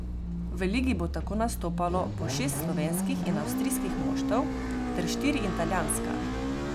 V ligi bo tako nastopalo po šest slovenskih in avstrijskih moštev ter štiri italijanska.